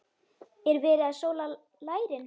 Er verið að sóla lærin?